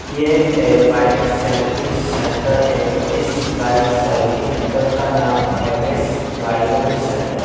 ये एक bike service centre है। जिस बाइक सर्विस सेंटर का नाम एम.एस. Bike service centre.